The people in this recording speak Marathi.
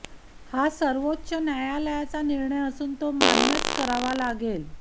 हा सर्वोच्च न्यायालयाचा निर्णय असून तो मान्यच करावा लागेल